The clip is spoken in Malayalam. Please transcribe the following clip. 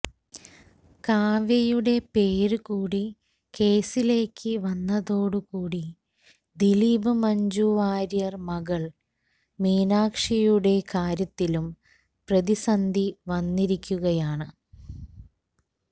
കാവ്യയുടെ പേര് കൂടി കേസിലേക്ക് വന്നതോട് കൂടി ദിലീപ് മഞ്ജു വാര്യര് മകള് മീനാക്ഷിയുടെ കാര്യത്തിലും പ്രതിസന്ധി വന്നിരിക്കുകയാണ്